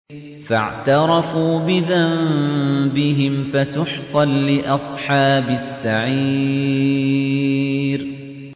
فَاعْتَرَفُوا بِذَنبِهِمْ فَسُحْقًا لِّأَصْحَابِ السَّعِيرِ